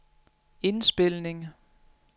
indspilning